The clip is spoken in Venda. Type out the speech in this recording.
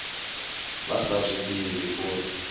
vha sa zwi ḓivhi uri